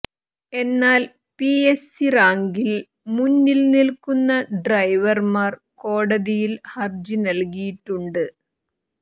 എന്നാൽ പിഎസ്സി റാങ്കിൽ മുന്നിൽ നിൽക്കുന്ന ഡ്രൈവർമാർ കോടതിയിൽ ഹർജി നൽകിയിട്ടുണ്ട്